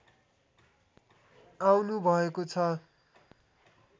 आउनु भएको छ